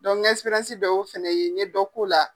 n ka bɛɛ y'o fana ye n ye dɔ k'o la.